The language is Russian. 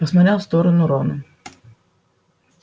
посмотрел в сторону рона